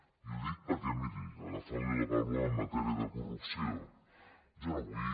i ho dic perquè miri agafant li la paraula en matèria de corrupció jo no vull